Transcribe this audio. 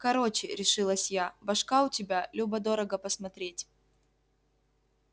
короче решилась я башка у тебя любо дорого посмотреть